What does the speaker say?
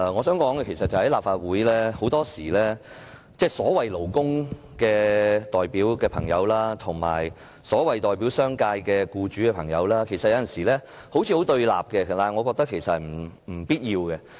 在立法會，代表勞工界的朋友及代表商界僱主的朋友有時候好像很對立，但我認為這是不必要的。